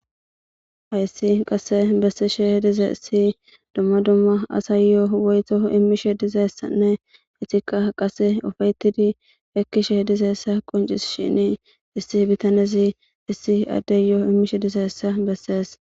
Ayssi qasse bessisheh dize issi dumma dumma asayyoo woyto immishe dizeessanne etika qase ofeyetidi ekkishe dizeessa qoncis shini issi bitanezi issi addeyyoo immishe dizeessa bessees.